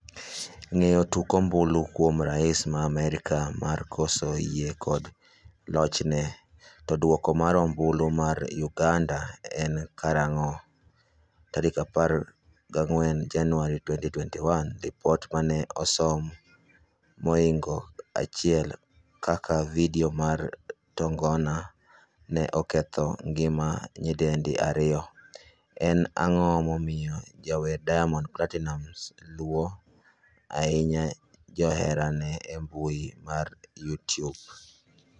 Ng'eyo tok ombulu kuom rais ma Amerka mar koso yie kod lochne? To duoko mar ombulu mar uganda en karang'o?14 Januari 2021Lipot mane osom mohingo 1 kaka video mar tongona ne oketho ngima nyidendi 2. en ang'o momiyo jawer Diamond Platinumz luo ahinya joherane embui ma Youtube?